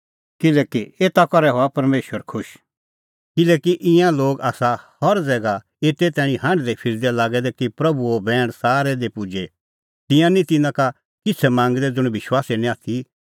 किल्हैकि ईंयां लोग आसा हर ज़ैगा एते तैणीं हांढदैफिरदै लागै दै कि प्रभूओ बैण सारै दी पुजे तिंयां निं तिन्नां का किछ़ै मांगदै ज़ुंण विश्वासी निं आथी